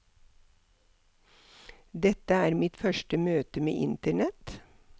Dette er mitt første møte med internett.